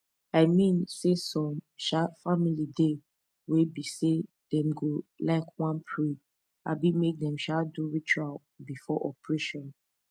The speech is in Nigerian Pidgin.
i mean saysome um family dey wey be say dem go um wan pray abi make dem um do ritual before operation